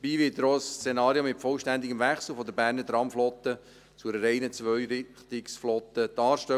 Dabei wird er auch darstellen, welche Konsequenzen eine vollständige Umstellung der Berner Tramflotte zu einer reinen Zweirichtungsflotte hätte.